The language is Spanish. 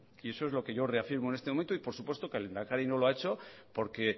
y eso es lo que yo reafirmo en este momento y por supuesto que el lehendakari no lo ha hecho porque